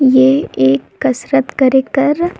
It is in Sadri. ए एक कसरत करके कर--